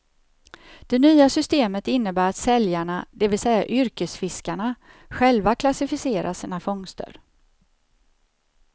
Det nya systemet innebär att säljarna, det vill säga yrkesfiskarna, själva klassificerar sina fångster.